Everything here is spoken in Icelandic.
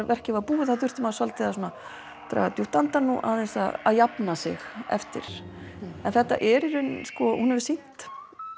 verkið var búið þá þurfti maður svolítið að draga djúpt andann og aðeins að jafna sig eftir en þetta er í rauninni hún hefur sýnt